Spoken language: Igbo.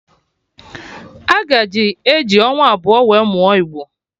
A ga-eji eji ọnwa abụọ wee mụọ igbo